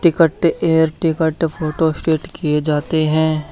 Ticket air ticket photostat किए जाते हैं।